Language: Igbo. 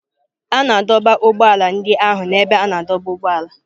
A na-adọba ụgbọ ala ndị ahụ na ebe a na-adọba ụgbọala.